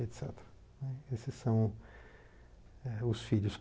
et cetera né. Esses eh são os filhos.